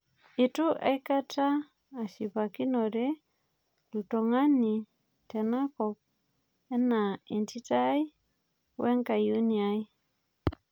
Itu aikata ashipakinore olntung'ani tenakop anaa entito ai woe nkayioni ai